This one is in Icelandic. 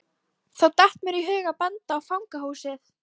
Þá datt mér í hug að benda á fangahúsið.